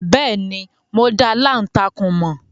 Bẹ́ẹ̀ni, mo dá aláǹtakùn mọ̀.